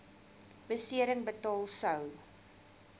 besering betaal sou